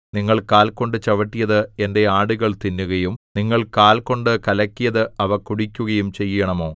നിങ്ങൾ കാൽ കൊണ്ട് ചവിട്ടിയത് എന്റെ ആടുകൾ തിന്നുകയും നിങ്ങൾ കാൽ കൊണ്ട് കലക്കിയത് അവ കുടിക്കുകയും ചെയ്യണമോ